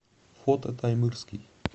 фото таймырский